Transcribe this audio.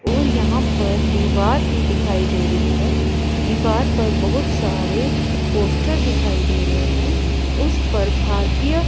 और यहां पर दीवार भी दिखाई दे रही है दीवार पर बहुत सारे पोस्टर दिखाई दे रहे हैं उस पर भारतीय--